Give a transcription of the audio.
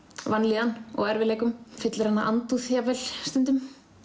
vanlíðan og erfiðleikum fyllir hana andúð jafnvel stundum